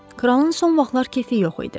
Kralın son vaxtlar keyfi yox idi.